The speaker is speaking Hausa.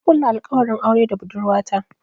Na kulla alkawarin aure da budurwata.